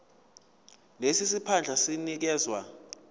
lesi siphandla sinikezwa